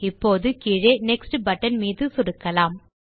இப்போது கீழே next button மீது சொடுக்கலாம்